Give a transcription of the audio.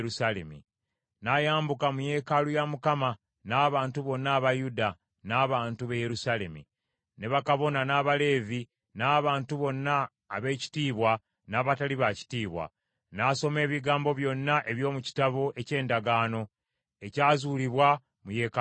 N’ayambuka mu yeekaalu ya Mukama , n’abantu bonna aba Yuda, n’abantu b’e Yerusaalemi, ne bakabona, n’abaleevi, n’abantu bonna ab’ekitiibwa n’abatali ba kitiibwa. N’asoma ebigambo byonna eby’omu kitabo eky’endagaano, ekyazuulibwa mu yeekaalu ya Mukama .